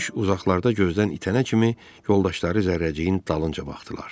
Quş uzaqlarda gözdən itənə kimi yoldaşları zərrəciyin dalınca baxdılar.